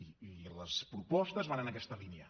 i les propostes van en aquesta línia